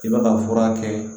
I b'a ka fura kɛ